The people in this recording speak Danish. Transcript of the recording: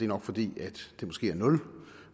nok fordi tallet er nul